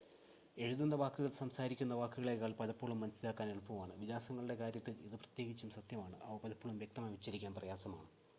എഴുതുന്ന വാക്കുകൾ സംസാരിക്കുന്ന വാക്കുകളേക്കാൾ പലപ്പോഴും മനസ്സിലാക്കാൻ എളുപ്പമാണ് വിലാസങ്ങളുടെ കാര്യത്തിൽ ഇത് പ്രത്യേകിച്ചും സത്യമാണ് അവ പലപ്പോഴും വ്യക്തമായി ഉച്ചരിക്കാൻ പ്രയാസമാണ്